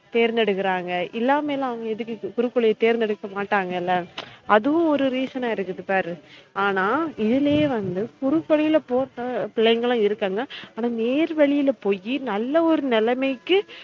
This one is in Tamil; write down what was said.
தேர்ந்தெடுக்குறாங்க இல்லமைலாம் அவுங்க எதுக்கு குறுக்கு வழிய தேர்ந்தெடுக்க மாடங்கல அதுவும் ஒரு reason ஆ இருக்குது பாரு ஆனா இதுலயே வந்து குறுக்கு வழில போற பிள்ளைங்கலும் இருக்காங்க ஆனா நேர்வழில போய் நல்ல ஒரு நிலமைக்கு